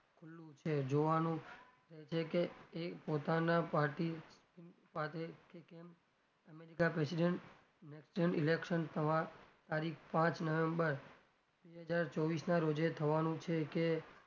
શું છે? જોવાનું એ છે કે એ પોતાના party party કે કેમ america president national election તારીખ પાંચ નવેમ્બર બે હજાર ચોવીશ ના રોજે થવાનું છે કે,